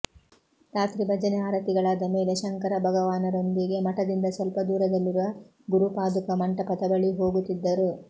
ರಾತ್ರಿ ಭಜನೆ ಆರತಿಗಳಾದ ಮೇಲೆ ಶಂಕರಭಗವಾನರೊಂದಿಗೆ ಮಠದಿಂದ ಸ್ವಲ್ಪದೂರದಲ್ಲಿರುವ ಗುರುಪಾದುಕಾ ಮಂಟಪದ ಬಳಿ ಹೋಗುತ್ತಿದ್ದರು